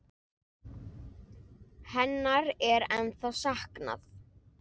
Hennar er ennþá saknað.